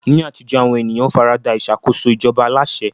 Ní àtijọ́, àwọn ènìyàn fara da ìṣàkóso ìjọba aláṣẹ.